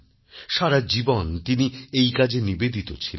সারা জীবন তিনি এই কাজে নিবেদিত ছিলেন